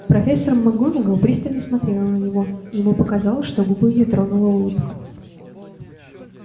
профессор макгонагалл пристально смотрела на него и ему показалось что губы её тронула улыбка